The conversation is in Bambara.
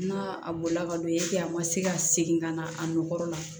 N'a bɔla ka don a ma se ka segin ka na a nɔkɔkɔrɔ la